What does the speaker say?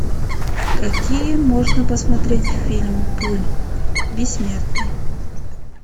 какие можно посмотреть фильм пули бессмертные